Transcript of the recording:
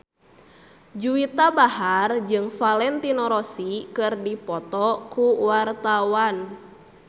Juwita Bahar jeung Valentino Rossi keur dipoto ku wartawan